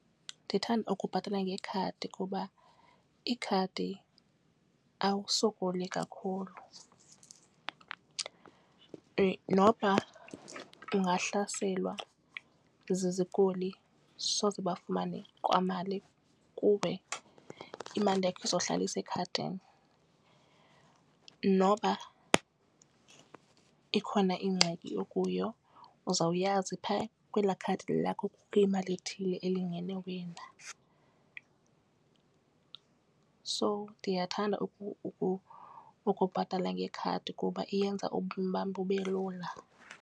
Ndithanda ukubhatala ngekhadi kuba ikhadi awusokoli kakhulu noba ungahlaselwa zizikoli soze bafumane kwamali kuwe. Imali yakho izohlala isekhadini noba ikhona ingxaki okuyo uzawuyazi pha kwela khadi lakho kune mali ethile elingene wena. So ndiyathanda ukubhatala ngekhadi kuba iyenza ubomi bam bube lula.